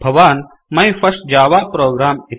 भवान् my first Java program